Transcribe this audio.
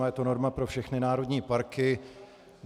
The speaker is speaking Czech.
A je to norma pro všechny národní parky.